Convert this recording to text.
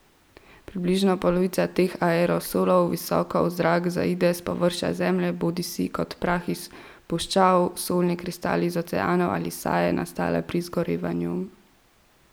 Približno polovica teh aerosolov visoko v zrak zaide s površja Zemlje, bodisi kot prah iz puščav, solni kristali iz oceanov ali saje, nastale pri izgorevanju.